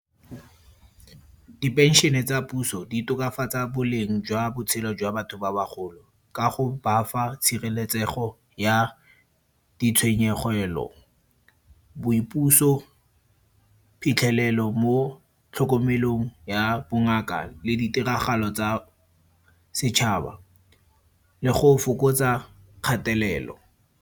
Dipenšene tsa puso di tokafatsa boleng jwa botshelo jwa batho ba bagolo, ka go ba fa tshireletsego ya ditshwenyegelo, boipuso, phitlhelelo mo tlhokomelong ya bongaka le ditiragalo tsa setšhaba. Le go fokotsa kgatelelo.